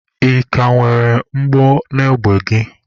Ị ka nwere mgbọ n'égbè gị?